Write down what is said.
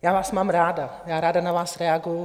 Já vás mám ráda, já ráda na vás reaguji.